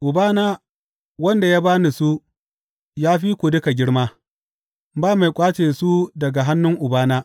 Ubana, wanda ya ba ni su, ya fi duka girma, ba mai ƙwace su daga hannun Ubana.